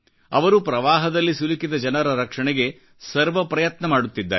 ಅವರುಪ್ರವಾಹದಲ್ಲಿ ಸಿಲುಕಿದ ಜನರ ರಕ್ಷಣೆಗೆ ಸರ್ವ ಪ್ರಯತ್ನ ಮಾಡುತ್ತಿದ್ದಾರೆ